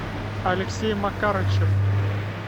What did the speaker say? алексей макарычев